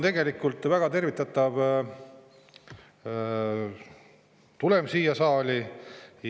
Tegelikult on väga tervitatav, et spordiseaduse muutmine on siia saali tulnud.